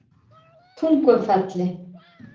Tungufelli